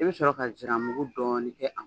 I bɛ sɔrɔ ka nsiran mugu dɔɔnin kɛ a kan